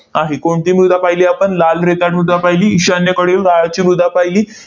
आहे. कोणती मृदा पाहिली आपण? लाल रेताड मृदा पाहिली, ईशान्येकडील गाळाची मृदा पाहिली,